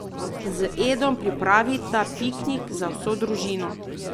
Z Edom pripravita piknik za vso družino.